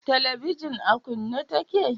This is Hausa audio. Telebijin a kunne ta ke?